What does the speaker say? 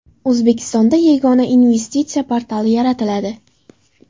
O‘zbekistonda Yagona investitsiya portali yaratiladi.